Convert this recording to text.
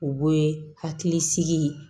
U be hakili sigi